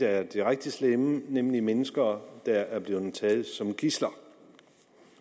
er det rigtig slemme nemlig mennesker der er blevet taget som gidsler